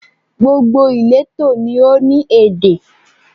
Gbogbo ìletò ni ó ní èdè